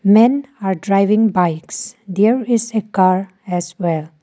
men are driving bikes there is a car as well.